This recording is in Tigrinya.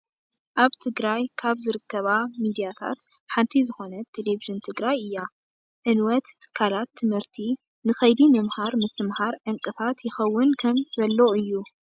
ኣብ ትግራይ ካብ ዝርከባ ሚዳታት ሓንቲ ዝኮነት ቴሌቪዥን ትግራይ እያ። ዕንወት ትካላት ትምህርቲ ንከይዲ ምምሃር ምስትምሃር ዕንቅፋት ይከውን ከም ዘሎ እዩ።